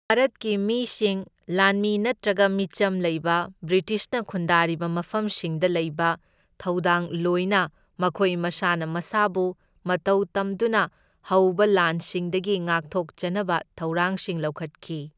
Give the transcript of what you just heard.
ꯚꯥꯔꯠꯀꯤ ꯃꯤꯁꯤꯡ, ꯂꯥꯟꯃꯤ ꯅꯠꯇ꯭ꯔꯒ ꯃꯤꯆꯝ ꯂꯩꯕ ꯕ꯭ꯔꯤꯇꯤꯁꯅ ꯈꯨꯟꯗꯥꯔꯤꯕ ꯃꯐꯝꯁꯤꯡꯗ ꯂꯩꯕ ꯊꯧꯗꯥꯡꯂꯣꯏꯅ ꯃꯈꯣꯏ ꯃꯁꯥꯅ ꯃꯁꯥꯕꯨ ꯃꯇꯧꯇꯝꯗꯨꯅ ꯍꯧꯕ ꯂꯥꯟꯁꯤꯡꯗꯒꯤ ꯉꯥꯛꯊꯣꯛꯆꯅꯕ ꯊꯧꯔꯥꯡꯁꯤꯡ ꯂꯧꯈꯠꯈꯤ꯫